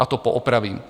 Já to poopravím.